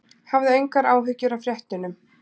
Hafðu engar áhyggjur af fréttunum.